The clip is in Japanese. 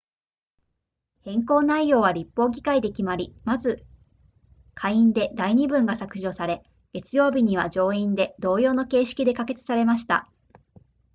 変更内容は立法議会で決まりまず下院で第二文が削除され月曜日には上院で同様の形式で可決されました